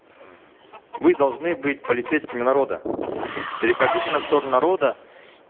мы должны быть полицейскими народа переходите на сторону народа